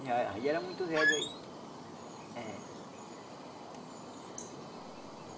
E ah aí era muito velho aí eh.